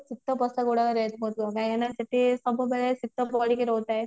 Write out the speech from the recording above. ଶୀତ ପୋଷାକ ଗୁଡାକ rate କାହିଁକି ନା ସେଠି ସବୁ ଜାଗାରେ ଶୀତ ପଡିକି ରହୁଥାଏ